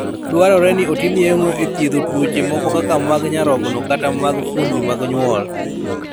Dwarore ni otim yeng'o e thiedho tuoche moko kaka mag nyarogno kata mag fuondni mag nyuol.